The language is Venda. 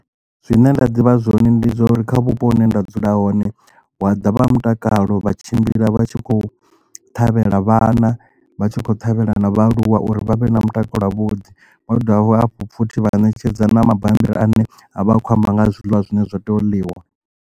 Zwine nda ḓivha zwone ndi zwa uri kha vhupo hune nda dzula hone hu wa ḓa vha mutakalo vha tshimbila vha tshi khou ṱhavhela vhana vha tshi khou ṱhavhela na vhaaluwa uri vhavhe na mutakalo wa vhuḓi vhadovha hafho futhi vha netshedza na mabambiri ane a vha a khou amba nga ha zwiḽiwa zwine zwa tea u ḽiwa.